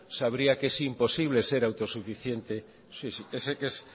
sabría que es imposible ser autosuficiente